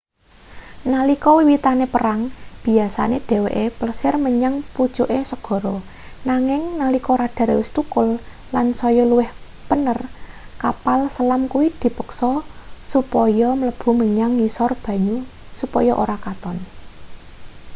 nalika wiwitane perang biyasane dheweke plesir menyang pucuke segara nanging nalika radar wis thukul lan saya luwih pener kapal selam kuwi dipeksa supaya mlebu menyang ngisor banyu supaya ora katon